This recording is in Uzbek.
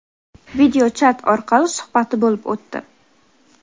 video chat orqali suhbati bo‘lib o‘tdi.